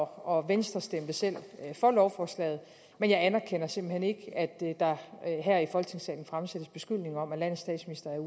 og venstre stemte selv for lovforslaget men jeg anerkender simpelt hen ikke at der her i folketingssalen fremsættes beskyldninger om at landets statsminister